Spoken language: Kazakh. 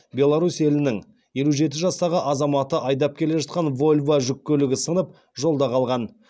беларусь елінің елу жеті жастағы азаматы айдап келе жатқан вольво жүк көлігі сынып жолда қалған